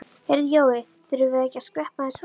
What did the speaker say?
Heyrðu Jói. þurfum við ekki að skreppa aðeins frá?